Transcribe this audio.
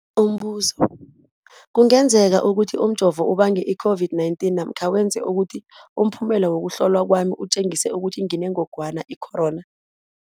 Umbuzo, kungenzekana ukuthi umjovo ubange i-COVID-19 namkha wenze ukuthi umphumela wokuhlolwa kwami utjengise ukuthi nginengogwana i-corona?